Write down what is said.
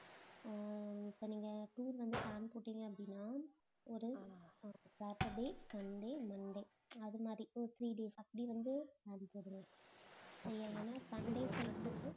அஹ் இப்ப நீங்க tour வந்து plan போட்டீங்க அப்படின்னா ஒரு saturday, sunday, monday அது மாதிரி ஒரு three days அப்படி வந்து sundays வந்து